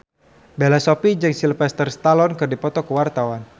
Bella Shofie jeung Sylvester Stallone keur dipoto ku wartawan